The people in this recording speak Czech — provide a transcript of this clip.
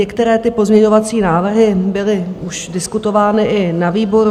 Některé ty pozměňovací návrhy byly už diskutovány i na výboru.